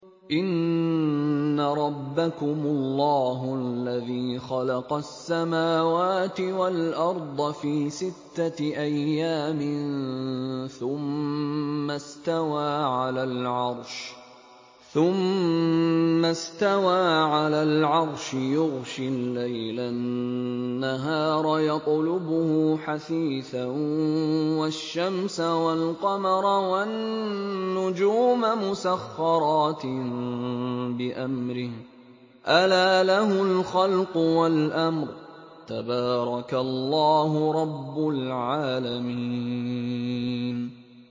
إِنَّ رَبَّكُمُ اللَّهُ الَّذِي خَلَقَ السَّمَاوَاتِ وَالْأَرْضَ فِي سِتَّةِ أَيَّامٍ ثُمَّ اسْتَوَىٰ عَلَى الْعَرْشِ يُغْشِي اللَّيْلَ النَّهَارَ يَطْلُبُهُ حَثِيثًا وَالشَّمْسَ وَالْقَمَرَ وَالنُّجُومَ مُسَخَّرَاتٍ بِأَمْرِهِ ۗ أَلَا لَهُ الْخَلْقُ وَالْأَمْرُ ۗ تَبَارَكَ اللَّهُ رَبُّ الْعَالَمِينَ